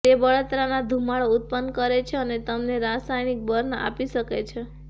તે બળતરાના ધૂમાડો ઉત્પન્ન કરે છે અને તમને રાસાયણિક બર્ન આપી શકે છે